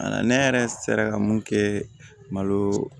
Ne yɛrɛ sera ka mun kɛ malo